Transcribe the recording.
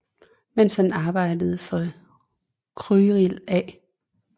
Mens han arbejdede for Cyril A